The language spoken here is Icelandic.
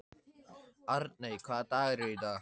Arney, hvaða dagur er í dag?